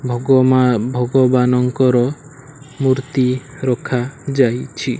ଭଗମା ଭଗବାନଙ୍କର ମୂର୍ତ୍ତି ରଖା ଯାଇଛି।